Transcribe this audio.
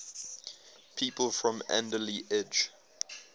people from alderley edge